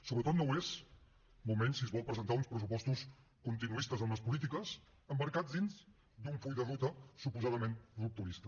sobretot no ho és molt menys si es volen presentar uns pressupostos continuistes amb les polítiques emmarcats dins d’un full de ruta suposadament rupturista